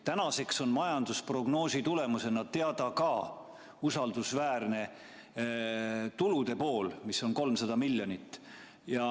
Tänaseks on majandusprognoosi tulemusena teada ka usaldusväärne tulupool, 300 miljonit eurot.